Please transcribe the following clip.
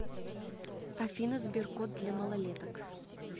афина сберкот для малолеток